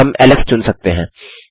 हम एलेक्स चुन सकते हैं